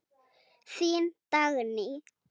Þín Dagný.